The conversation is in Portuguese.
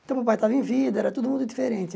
Então, o papai estava em vida, era tudo muito diferente.